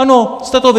Ano, jste to vy!